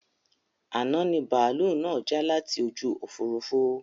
Àná ni bàálú náà já láti ojú Òfurufú